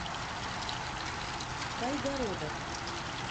кайгородов